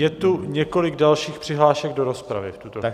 Je tu několik dalších přihlášek do rozpravy v tuto chvíli.